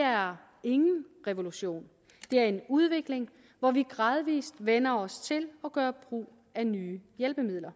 er ingen revolution det er en udvikling hvor vi gradvis vender os til at gøre brug af nye hjælpemidler